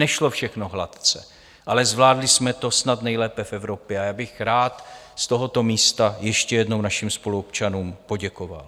Nešlo všechno hladce, ale zvládli jsme to snad nejlépe v Evropě, a já bych rád z tohoto místa ještě jednou našim spoluobčanům poděkoval.